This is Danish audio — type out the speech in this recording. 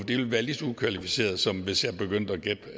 ville være lige så ukvalificeret som hvis jeg begyndte